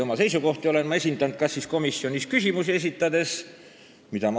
Oma seisukohti olen ma esindanud komisjonis küsimusi esitades ja sõna võttes.